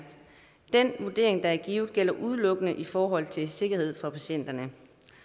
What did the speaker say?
den vurdering der er givet gælder udelukkende i forhold til sikkerhed for patienterne